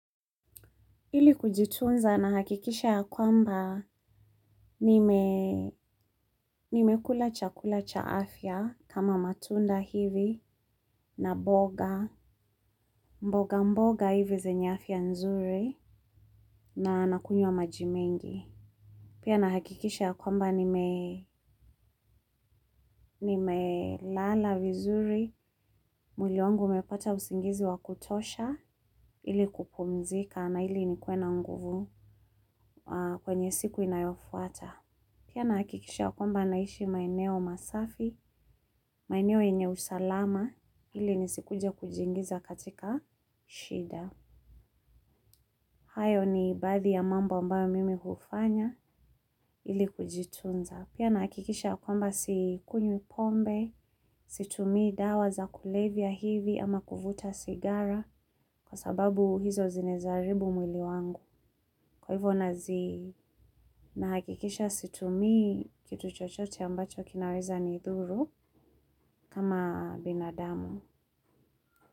Ili kujitunza nahakikisha ya kwamba nimekula chakula cha afya kama matunda hivi, na mboga, mboga mboga hivi zenye afya nzuri, na kunywa maji mengi. Pia nahakikisha ya kwamba nimelala vizuri. Mwili wangu umepata usingizi wa kutosha ili kupumzika na ili nikuwe nguvu kwenye siku inayofuata. Pia nahakikisha kwamba naishi maeneo masafi, maeneo yenye usalama, ili nisije kujiingiza katika shida. Hayo ni baadhi ya mambo ambayo mimi hufanya, ili kujitunza. Pia nahakikisha kwamba sikunywi pombe, situmii dawa za kulevya hiviwala kuvuta sigara, kwa sababu hizo zinaweza haribu mwili wangu. Kwa hivyo nahakikisha situmii kitu chochote ambacho kinaweza nidhuru kama binadamu.